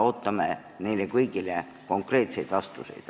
Ootame neile kõigile konkreetseid vastuseid.